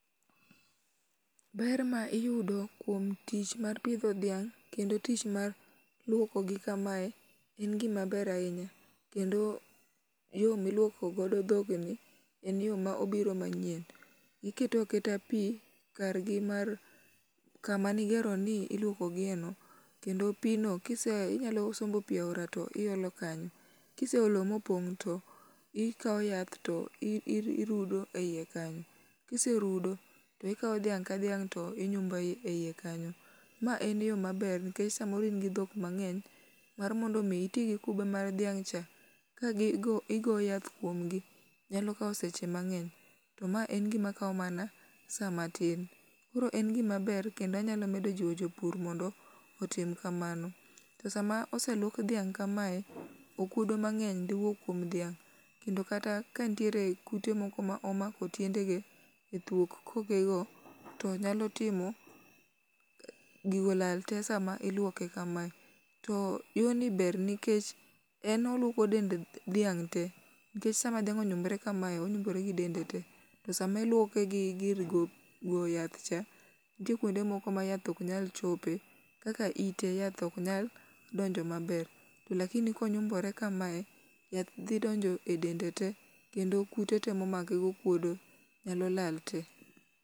Ber ma iyudo kuom tich mar pidho dhiang' kendo tich mar luokogi kamae en gima ber ahinya kendo yo miluoko godo dhokni en yo ma obiro manyien. Iketo aketa pi kargi mar kama ne igero ni iluokogiyeno kendo pino kise inyalo sombo pi e aora to iolo kanyo. Ka iseolo mopong' to ikawo yath to irudo eiye kanyo. Kiserudo to ikawo dhiang' ka dhiang' to inyumo eiye kanyo. Ma en yo maber nikech samoro in gi dhok mang' nikech mar mondo mi iti gi kube mar dhiang' cha ka igoyo yath kuomgi nyalo kawo seche mang'eny to ma en gima kawo mana saa matin koro en gima ber kendo anyalo medojiwo jopur mondo otim kamanió. To sama oselok dhiang' kamae to okuodo mang'eny bende wuok kuom dhiang' kendo kata kanitiere kute moko ma omako tiendege ethuk kokego to nyalo timo gigo lal te sama iluoke kamae. To yorni ber nikech en oluoko dend dhiang' tee nikech sama dhiang' onyumore kamae to onyumore gi dende tee to sama iluoke gi gir go yath cha nitie kuonde moko ma yath ok nyal chope. Kaka ite yath ok nyal donjo maber lakini ka onyumore kamae, yath dhi donjo e dende tee kendo kute tee moko momake gi okuodo nyalo lal tee.